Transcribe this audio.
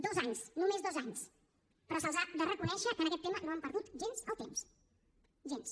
dos anys només dos anys però se’ls ha de reconèixer que en aquest tema no han perdut gens el temps gens